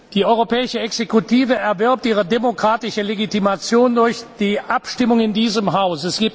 Die europäische Exekutive erwirbt ihre demokratische Legitimation durch die Abstimmung in diesem Haus.